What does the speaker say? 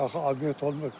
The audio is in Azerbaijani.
Bu qədər axı obyekt olmur.